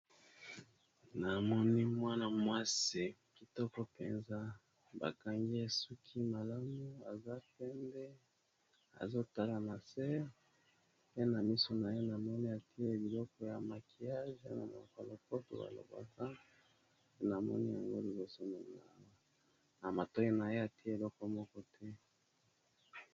Namoni mwana mwasi kitoko penza ba kangi ye suki malamu aza penbe, azotala na se, pe na miso na ye na moni atie biloko ya makiyage na monoko ya lopoto ba lobaka na moni yango liboso nanga, na matoi na ye atie eleko moko te.